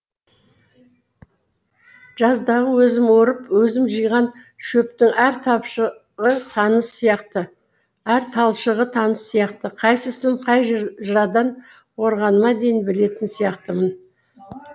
жаздағы өзім орып өзім жиған шөптің әр талшығы таныс сияқты қайсысын қай жырадан орғаныма дейін білетін сияқтымын